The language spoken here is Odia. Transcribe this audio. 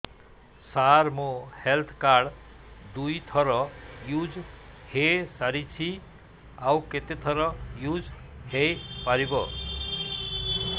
ସାର ମୋ ହେଲ୍ଥ କାର୍ଡ ଦୁଇ ଥର ୟୁଜ଼ ହୈ ସାରିଛି ଆଉ କେତେ ଥର ୟୁଜ଼ ହୈ ପାରିବ